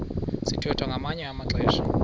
sithwethwa ngamanye amaxesha